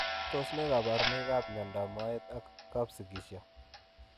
Tos nee kabarunoik ap miondoop moet ak kapsigisio?